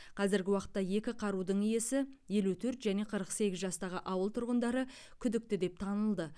қазіргі уақытта екі қарудың иесі елу төрт және қырық сегіз жастағы ауыл тұрғындары күдікті деп танылды